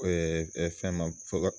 Ɛɛ ɛɛ fɛn ma fɔlɔ